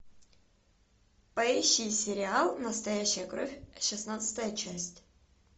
поищи сериал настоящая кровь шестнадцатая часть